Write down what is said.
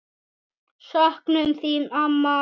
Söknum þín, amma.